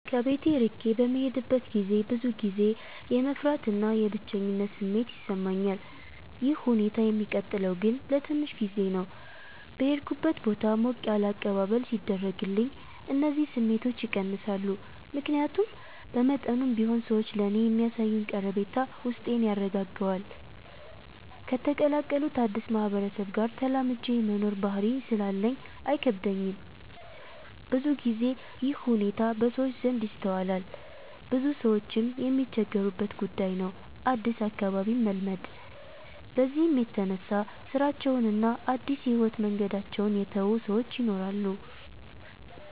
ከቤት እርቄ በምሄድበት ገዜ ብዙ ጊዜ የመፍራት እና የብቸኝነት ስሜት ይሰማኛል። ይህ ሁኔታ የሚቀጥለው ግን ለትንሽ ጊዜ ነው። በሄድኩበት ቦታ ሞቅ ያለ አቀባበል ሲደረግልኝ እነዚህ ስሜቶች ይቀንሳሉ። ምክያቱም በመጠኑም ቢሆን ሰዎች ለኔ የሚያሳዩኝ ቀረቤታ ውስጤን ያረጋጋዋል። ከተቀላቀሉት አድስ ማህበረሰብ ጋር ተላምጄ የመኖር ባህሪ ስላለኝ አይከብደኝም። ብዙ ግዜ ይህ ሁኔታ በሰዎች ዘንድ ይስተዋላል ብዙ ሰዎችም የሚቸገሩበት ጉዳይ ነው አድስ አካባቢን መልመድ። በዚህም የተነሳ ስራቸውን እና አድስ የህይወት መንገዳቸውን የተው ሰወች ይናራሉ።